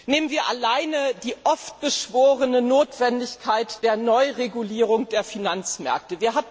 Nehmen wir alleine die oft beschworene Notwendigkeit der Neuregulierung der Finanzmärkte!